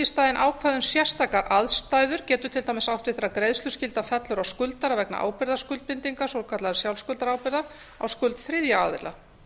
í staðinn ákvæði um sérstakar aðstæður getur til dæmis átt við þegar greiðsluskylda fellur á skuldara vegna ábyrgðarskuldbindinga svokallaðra sjálfskuldarábyrgða á skuld þriðja aðila